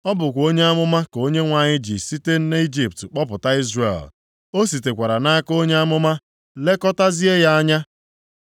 Ọ bụkwa onye amụma ka Onyenwe anyị ji site nʼIjipt kpọpụta Izrel, o sitekwara nʼaka onye amụma lekọtazie ya anya.